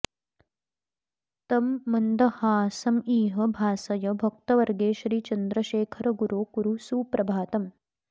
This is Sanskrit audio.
तं मन्दहासमिह भासय भक्तवर्गे श्री चन्द्रशेखरगुरो कुरु सुप्रभातम्